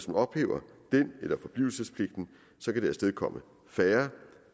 man ophæver den eller forblivelsespligten kan det afstedkomme færre